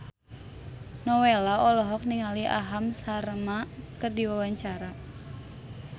Nowela olohok ningali Aham Sharma keur diwawancara